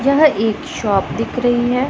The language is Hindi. यह एक शॉप दिख रही है।